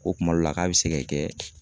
Ko kuma dɔ la, k'a bɛ se ka kɛ.